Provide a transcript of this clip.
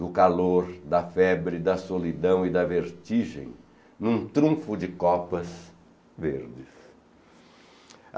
do calor, da febre, da solidão e da vertigem num trunfo de copas verdes.